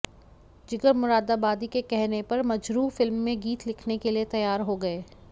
जिगर मुरादाबादी के कहने पर मजरूह फिल्म में गीत लिखने के लिए तैयार हो गए